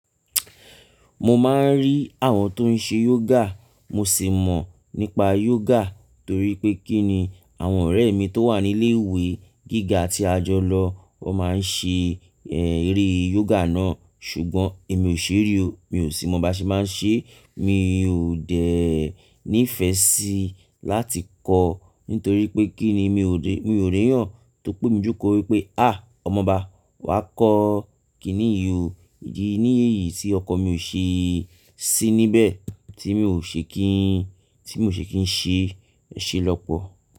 Mo máa ń rí àwọn tó ń ṣe yoga, mo sì mọ̀ nípa yoga torí pé kí ni àwọn ọ̀rẹ́ mi tó wà ní ilé ìwé gíga tí a jọ lọ, wọ́n máa ń ṣe, eh, eré yoga náà. Ṣùgbọ́n èmi ò ṣé rí o, mi ò sì mọ̀ bá ṣe máa ń ṣe. Mi ò dẹ̀ ní ìfẹ́ síi láti kọ́, nítorí pé kí ni i ò dé, mi ò rè yàn. Tó pé mi jókòó wípé, "à, ọmọ ọba wà á kọ́ kì í ní yì o, ìdí nìyi yìí tí ọkan mi ò ṣe ti níbẹ̀, tí mi ò ṣe kí í, tí mi ò ṣe kí ń ṣe ṣẹ lọ́pọ̀.